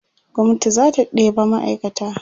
gwamnati zata ɗeba ma'aikata